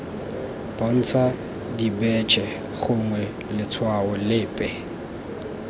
bontsha dibetšhe gongwe letshwao lepe